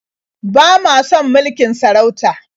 Ba ma son mulkin sarauta.